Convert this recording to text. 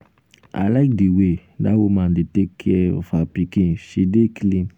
i like the way dat woman dey take care of her pikin. she dey clean..